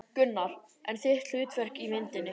Gunnar: En þitt hlutverk í myndinni?